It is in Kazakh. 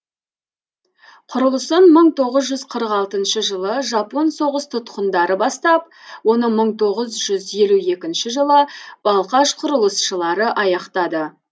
құрылысын мың тоғыз жүз қырық алтыншы жылы жапон соғыс тұтқындары бастап оны мың тоғыз жүз елу екінші жылы балқаш құрылысшылары аяқтады